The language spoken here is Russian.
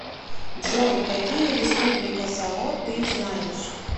джой какие республика сало ты знаешь